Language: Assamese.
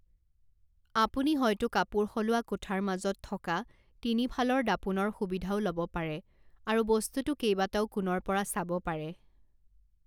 আপুনি হয়তো কাপোৰ সলোৱা কোঠাৰ মাজত থকা তিনি ফালৰ দাপোণৰ সুবিধাও ল'ব পাৰে আৰু বস্তুটো কেইবাটাও কোণৰ পৰা চাব পাৰে।